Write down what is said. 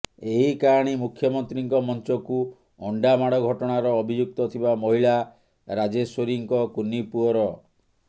ଏହି କାହାଣୀ ମୁଖ୍ୟମନ୍ତ୍ରୀଙ୍କ ମଞ୍ଚକୁ ଅଣ୍ଡାମାଡ଼ ଘଟଣାର ଅଭିଯୁକ୍ତ ଥିବା ମହିଳା ରାଜେଶ୍ୱରୀଙ୍କ କୁନି ପୁଅର